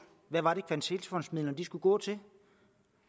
hvad var det kvalitetsfondsmidlerne skulle gå til